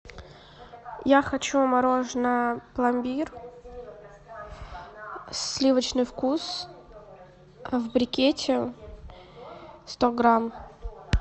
я хочу мороженое пломбир сливочный вкус в брикете сто грамм